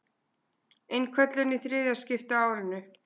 Innköllun í þriðja skipti á árinu